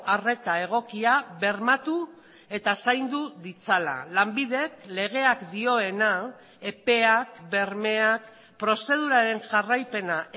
arreta egokia bermatu eta zaindu ditzala lanbidek legeak dioena epeak bermeak prozeduraren jarraipena